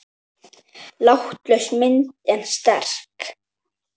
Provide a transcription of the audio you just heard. Látlaus mynd en sterk.